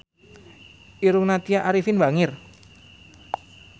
Irungna Tya Arifin bangir